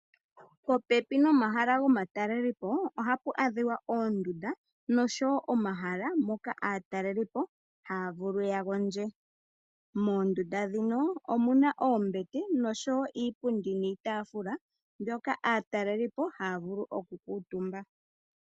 Popepi nomahala gomatalelopo ohapu adhika oondunda nosho wo omahala moka aatalelipo haya vulu ya gondje. Moondunda ndhino omuna oombete no sho wo iipundi niitaafula moka aatalelipo haya vulu oku kuutumba.